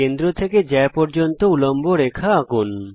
কেন্দ্র থেকে জ্যা পর্যন্ত উল্লম্ব রেখা আঁকুন